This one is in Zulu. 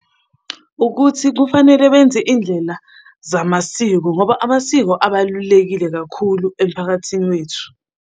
Ukuthi kufanele benze indlela zamasiko ngoba amasiko abalulekile kakhulu emphakathini wethu.